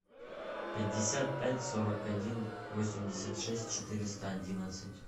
пятьдесят пять сорок один восемьдесят шесть четыреста одиннадцать